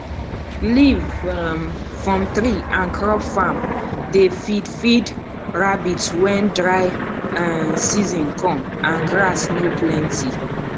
leaf um from tree and crop farm dey feed feed rabbit when dry um season come and grass no plenty